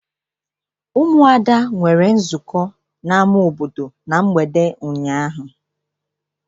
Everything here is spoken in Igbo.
Ụmụada nwere nzukọ n'ama obodo na mgbede ụnyaahụ.